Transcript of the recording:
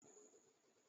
bẹ́ẹ̀ni, ìpìlẹ̀ náà ti dáa.